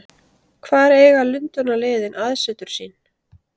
Hvar eiga Lundúnaliðin aðsetur sín?